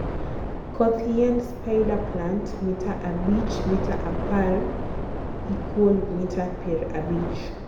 koth yiend spiderplant mita abich *mita apar =mita pier abich